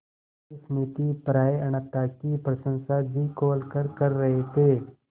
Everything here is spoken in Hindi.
इस नीतिपरायणता की प्रशंसा जी खोलकर कर रहे थे